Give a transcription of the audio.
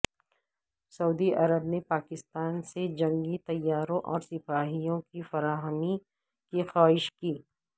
سعودی عرب نے پاکستان سے جنگی طیاروں اور سپاہیوں کی فراہمی کی خواہش کی